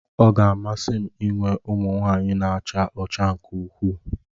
Ọ ga-amasị m inwe ụmụ nwanyị na-acha ọcha nke ukwuu